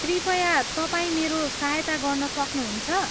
कृपया तपाईँ मेरो सहायता गर्न सक्नुहुन्छ?